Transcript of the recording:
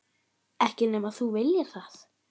Ekki nema þú viljir það.